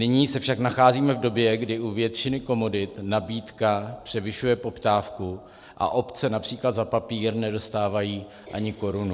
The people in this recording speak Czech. Nyní se však nacházíme v době, kdy u většiny komodit nabídka převyšuje poptávku a obce například za papír nedostávají ani korunu.